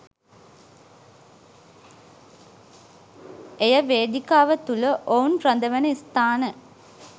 එය වේදිකාව තුළ ඔවුන් රඳවන ස්ථාන